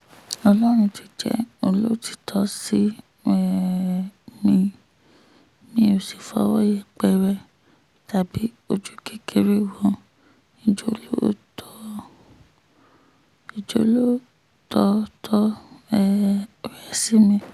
ọlọ́run ti jẹ́ olótìtọ́ sí um mi mi ó sì fọwọ́ yẹpẹrẹ tàbí ojú kékeré wo ìjólótòtọ́ um rẹ̀ sí mi